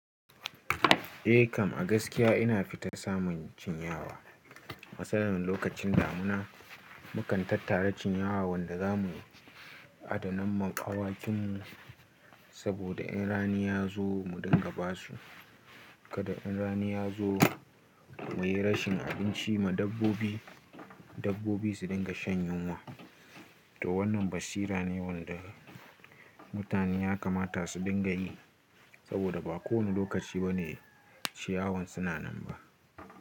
Eh Kam, a gaskiya ina fita samun cinyawa. Matsalar lokacin damuna, mukan tattara cinyawan da za mu adana ma awakinmu, saboda in rani ya zo mu dinga ba su. Kada in rani ya zo mu yi rashin abinci ma dabbobi, dabbobi su dinga shan yunwa. To wannan basira ne wanda mutane ya kamata su dinga yi, saboda ba kowane lokaci bane ciyawan suna nan ba.